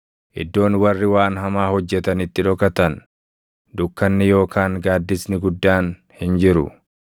Iddoon warri waan hamaa hojjetan itti dhokatan, dukkanni yookaan gaaddisni guddaan hin jiru.